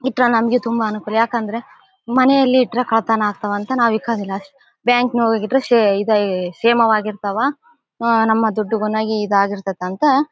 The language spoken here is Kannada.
ಈ ತರ ನಮಗೆ ತುಂಬಾ ಅನುಕೂಲ ಯಾಕಂದ್ರೆ ಮನೆಯಲ್ಲಿಟ್ಟರೆ ಕಳ್ಳತನ ಆಗುತ್ತೆ ಅಂತ ನಾವು ಇಕ್ಕೋದಿಲ್ಲ ಬ್ಯಾಂಕ್ ನೊಳಗಿಟ್ಟರೆ ಸೆ ಇದು ಕ್ಷೇಮವಾಗಿರ್ತಾವ ನಮ್ಮ ದುಡ್ಡುಗುನು ಇದಾಗಿರ್ತದ ಅಂತ.